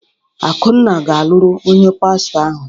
Akunna ga-alụrụ onye pastọ ahụ.